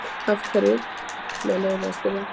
Af hverju, með leyfi að spyrja?